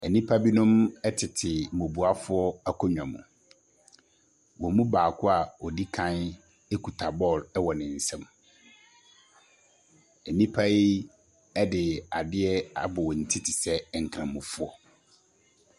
Enipa binom ɛtete bubuafoɔ akonwa mu. Wɔn mu baako a ɔdikan ekuta bɔɔl wɔ ne nsam. Enipa yi ɛde adeɛ abɔ wɔn ti te sɛ nkramofoɔ.